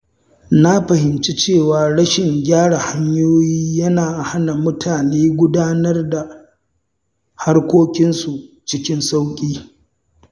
Na fahimci cewa rashin gyara hanyoyi yana hana mutane gudanar da harkokinsu cikin sauƙi.